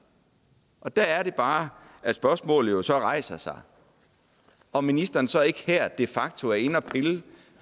og der er det bare at spørgsmålet rejser sig om ministeren så ikke her de facto er inde at pille